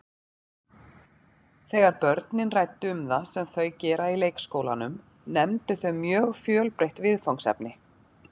Þegar börnin ræddu um það sem þau gera í leikskólanum nefndu þau mjög fjölbreytt viðfangsefni.